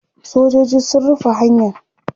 sojoji sun rufe hanyan